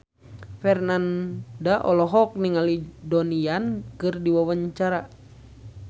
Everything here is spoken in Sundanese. Franda olohok ningali Donnie Yan keur diwawancara